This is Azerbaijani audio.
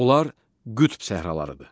Onlar qütb səhralarıdır.